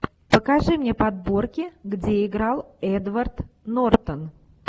покажи мне подборки где играл эдвард нортон